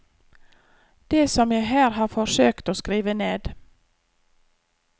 Det som jeg her har forsøkt å skrive ned.